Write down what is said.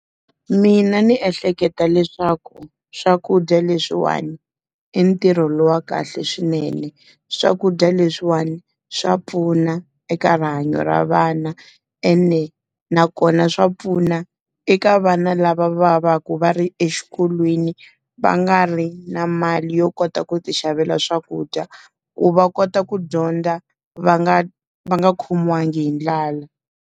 Mina ndzi ehleketa leswaku swakudya leswiwani, i ntirho lowu wa kahle swinene. Swakudya leswiwani swa pfuna eka rihanyo ra vana ene, nakona swa pfuna eka vana lava va va va ri exikolweni, va nga ri na mali yo kota ku ti xavela swakudya. Ku va kota ku dyondza va nga va nga khomiwanga hi ndlala.